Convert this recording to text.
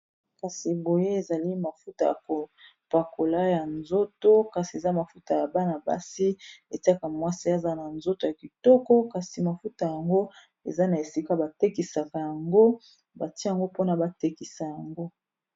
kasi boye ezali mafuta ya kopakola ya nzoto kasi eza mafuta ya bana-basi etiaka mwasi aza na nzoto ya kitoko kasi mafuta yango eza na esika batekisaka yango batia yango mpona batekisa yango